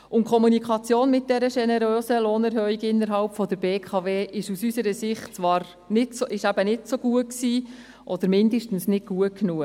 Die Kommunikation dieser generösen Lohnerhöhung innerhalb der BKW war aus unserer Sicht zwar nicht so gut, oder mindestens nicht gut genug.